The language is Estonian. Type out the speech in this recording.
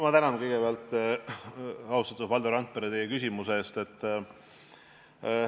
Ma tänan kõigepealt, austatud Valdo Randpere, teie küsimuse eest!